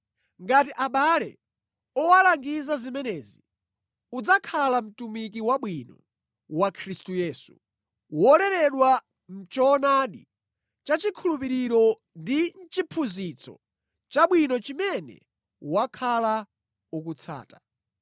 Ngati abale uwalangiza zimenezi, udzakhala mtumiki wabwino wa Khristu Yesu, woleredwa mʼchoonadi cha chikhulupiriro ndi mʼchiphunzitso chabwino chimene wakhala ukutsata.